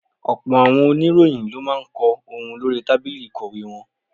Ọ̀pọ̀ àwọn oníròyìn ló máa ń kọ ohun lórí tábìlì ìkọ̀wé wọn.